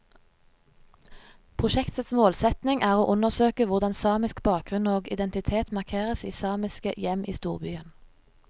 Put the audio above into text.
Prosjektets målsetning er å undersøke hvordan samisk bakgrunn og identitet markeres i samiske hjem i storbyen.